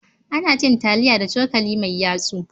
Ana cin taliya da cokali mai yatsu.